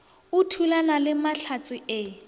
o thulana le mahlatse e